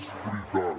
és veritat